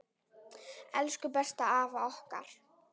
Elsku besta afa okkar.